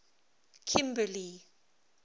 kimberley